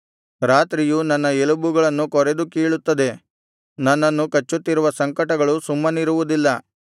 ರಾತ್ರಿಯು ನನ್ನ ಎಲುಬುಗಳನ್ನು ಕೊರೆದು ಕೀಳುತ್ತದೆ ನನ್ನನ್ನು ಕಚ್ಚುತ್ತಿರುವ ಸಂಕಟಗಳು ಸುಮ್ಮನಿರುವುದಿಲ್ಲ